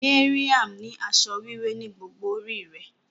Mariam ni asọ wiwẹ ni gbogbo ori é.